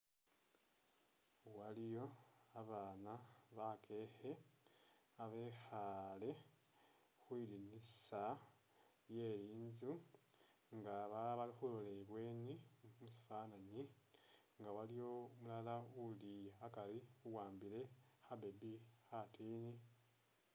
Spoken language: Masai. Waliyo abana bakekhe abekhale khwindinisa lye inzu nga balala bali khulola ibweni musifananyi nga waliyocumulala uli akari uwambile kha'baby khatini